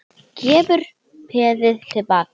Gefur peðið til baka.